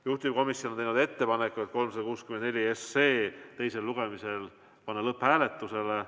Juhtivkomisjon on teinud ettepaneku panna eelnõu 364 teisel lugemisel lõpphääletusele.